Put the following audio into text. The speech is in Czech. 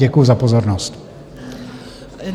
Děkuji za pozornost.